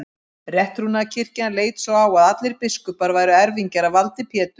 Rétttrúnaðarkirkjan leit svo á að allir biskupar væru erfingjar að valdi Péturs.